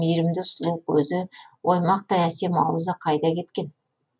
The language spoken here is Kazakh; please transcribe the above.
мейрімді сұлу көзі оймақтай әсем аузы қайда кеткен